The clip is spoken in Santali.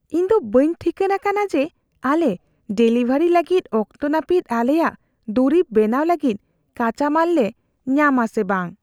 ᱤᱧ ᱫᱚ ᱵᱟᱹᱧ ᱴᱷᱤᱠᱟᱹᱱ ᱟᱠᱟᱱᱟ ᱡᱮ ᱟᱞᱮ ᱰᱮᱞᱤᱵᱷᱟᱹᱨᱤ ᱞᱟᱹᱜᱤᱫ ᱚᱠᱛᱚ ᱱᱟᱹᱯᱤᱛ ᱟᱞᱮᱭᱟᱜ ᱫᱩᱨᱤᱵ ᱵᱮᱱᱟᱣ ᱞᱟᱹᱜᱤᱫ ᱠᱟᱸᱪᱟᱢᱟᱞ ᱞᱮ ᱧᱟᱢᱟ ᱥᱮ ᱵᱟᱝ ᱾